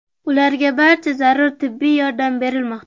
Ularga barcha zarur tibbiy yordam berilmoqda.